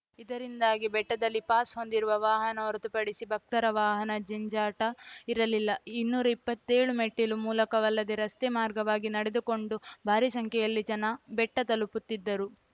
ಇದರಿಂದಾಗಿ ಬೆಟ್ಟದಲ್ಲಿ ಪಾಸ್‌ ಹೊಂದಿರುವ ವಾಹನ ಹೊರತುಪಡಿಸಿ ಭಕ್ತರ ವಾಹನ ಜಂಜಾಟ ಇರಲಿಲ್ಲ ಇನ್ನೂರ ಇಪ್ಪತ್ತೇಳು ಮೆಟ್ಟಿಲು ಮೂಲಕವಲ್ಲದೆ ರಸ್ತೆ ಮಾರ್ಗವಾಗಿ ನಡೆದುಕೊಂಡೂ ಭಾರೀ ಸಂಖ್ಯೆಯಲ್ಲಿ ಜನ ಬೆಟ್ಟತಲುಪುತ್ತಿದ್ದರು